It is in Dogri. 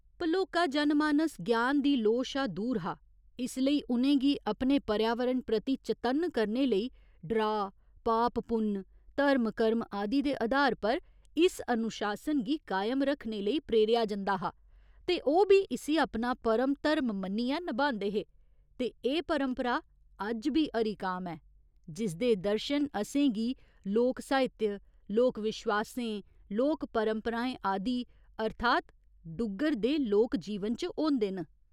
भलोका जनमानस ज्ञान दी लोऽ शा दूर हा इस लेई उ'नें गी अपने पर्यावरण प्रति चतन्न करने लेई डराऽ, पाप पुन्न, धर्म कर्म आदि दे अधार पर इस अनुशासन गी कायम रक्खने लेई प्रेरेआ जंदा हा ते ओह् बी इस्सी अपना परम धर्म मन्नियै नभांदे हे ते एह् परंपरा अज्ज बी हरिकाम ऐ, जिसदे दर्शन असें गी लोक साहित्य, लोक विश्वासें, लोक परंपराएं आदि अर्थात् डुग्गर दे लोक जीवन च होंदे न।